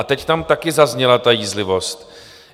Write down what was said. A teď tam taky zazněla ta jízlivost.